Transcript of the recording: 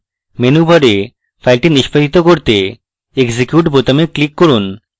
menu bar file নিষ্পাদিত করতে execute বোতামে click করুন